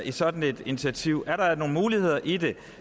i sådan et initiativ er der nogle muligheder i det